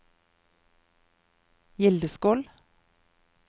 Gildeskål